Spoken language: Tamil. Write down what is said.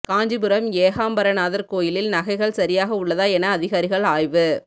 காஞ்சிபுரம் ஏகாம்பரநாதர் கோயிலில் நகைகள் சரியாக உள்ளதா என அதிகாரிகள் ஆய்வு